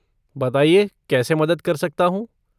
बताइए कैसे मदद कर सकता हूँ?